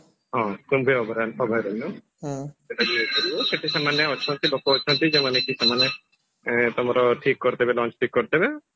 ହଁ କୁମ୍ଭୀର ଅଭୟା ଅଭୟାରଣ୍ୟ ସେଇଟା ବି ଯାଇପାରିବ ସେଠି ସେମାନେ ଅଛନ୍ତି ଲୋକ ଅଛନ୍ତି ଯଉ ମାନେ କି ସେମାନେ ଆଁ ତମର ଠିକ କରିଦେବେ launch ଠିକ କରିଦେବେ